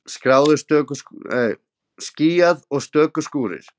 Skýjað og stöku skúrir